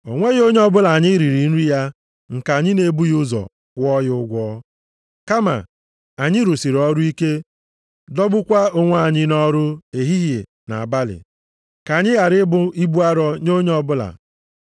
O nweghị onye ọbụla anyị riri nri ya nke anyị na-ebughị ụzọ kwụọ ya ụgwọ. Kama anyị rụsịrị ọrụ ike, dọgbukwaa onwe anyị nʼọrụ ehihie na abalị, ka anyị ghara ịbụ ibu arọ nye onye ọbụla.